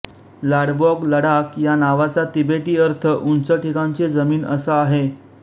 लाड्वाॅग लडाख या नावाचा तिबेटी अर्थ उंच ठिकाणची जमीन असा आहे